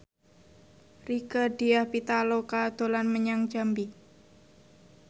Rieke Diah Pitaloka dolan menyang Jambi